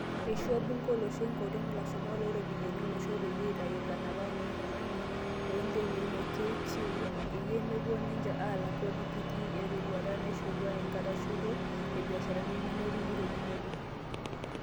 Eishoo bunge olosho enkoriong Lashumak looropiyiani olosho peyie eitayu lanapak loloingange loo ntekei le KQ peyie mepuo ninje aalak kodi kitii erotuata naishorua enkitashoito o biasharani nemetumito dupoto.